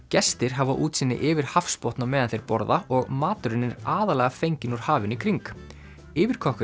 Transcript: gestir hafa útsýni yfir hafsbotn á meðan þeir borða og maturinn er aðallega fenginn úr hafinu í kring